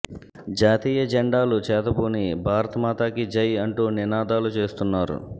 జాతీయ జెండాలు చేతబూని భారత మాతా కీ జై అంటూ నినాదాలు చేస్తున్నారు